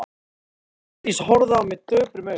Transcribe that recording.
Sóldís horfði á mig döprum augum.